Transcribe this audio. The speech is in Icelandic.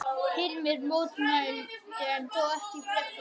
Hilmar mótmælti en þó ekki kröftuglega.